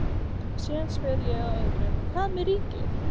Og síðan spyr ég að öðru, hvað með ríkið?